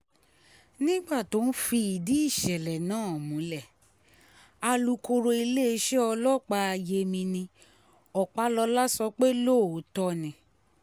nígbà tó ń fìdí ìṣẹ̀lẹ̀ náà múlẹ̀ alūkkóró iléeṣẹ́ ọlọ́pàá yemini ọpálọ́lá sọ pé lóòótọ́ ni